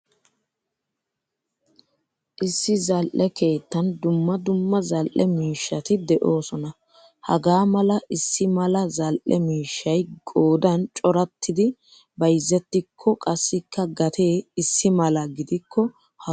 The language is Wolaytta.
Issi zal'ee keettan dumma dumma zal'e miishshat deosona. Hagaa mala issi mala zal'e miishshay qoodan corattidi bayzettiko qassikka gatee issimala gidikko ha sohuwaa woygane?